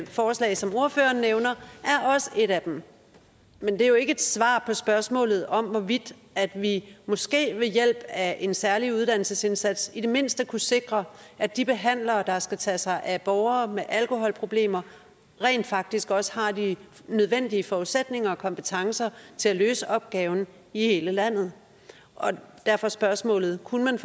forslag som ordføreren nævner er også et af dem men det er jo ikke et svar på spørgsmålet om hvorvidt vi måske ved hjælp af en særlig uddannelsesindsats i det mindste kunne sikre at de behandlere der skal tage sig af borgere med alkoholproblemer rent faktisk også har de nødvendige forudsætninger og kompetencer til at løse opgaven i hele landet og derfor spørgsmålet kunne man